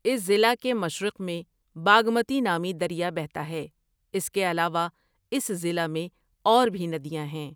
اس ضلع کے مشرق میں باگمتی نامی دریا بہتا ہے، اس کے علاوہ اس ضلع میں اور بھی ندیاں ہیں۔